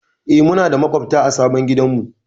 Eh, muna da maƙwabta a sabon gidanmu.